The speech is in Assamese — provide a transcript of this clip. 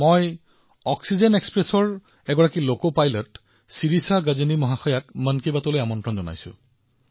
মই অক্সিজেন এক্সপ্ৰেছৰ পৰা লোকোপাইলট শিৰিষা গজনীজীক মন কী বাতলৈ আমন্ত্ৰণ জনাইছো